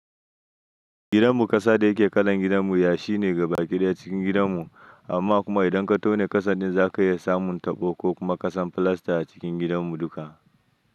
Gidanmu ƙasa da yake kalan gidanmu yashi ne gabaki ɗaya cikin gidanmu, amma kuma idan ka tone ƙasa ɗin za ka iya samun taɓo ko kuma ƙasan filasta a cikin gidanmu duka.